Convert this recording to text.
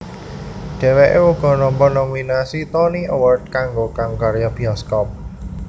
Dhèwèké uga nampa nominasi Tony Award kanggo kang karya bioskop